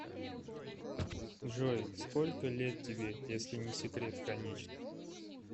джой сколько лет тебе если не секрет конечно